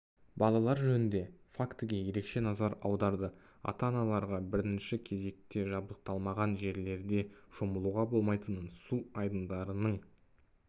балалар жөнінде фактіге ерекше назар аударды ата-аналарға бірінші кезекте жабдықталмаған жерлерде шомылуға болмайтынын су айдындарының